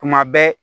Tuma bɛɛ